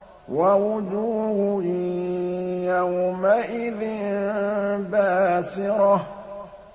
وَوُجُوهٌ يَوْمَئِذٍ بَاسِرَةٌ